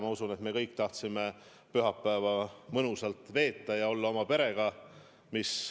Ma usun, et me kõik tahtsime pühapäeva mõnusalt veeta ja olla oma perega.